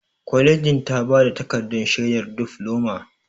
Kwalejin ta ba ta takardar shaidar difloma.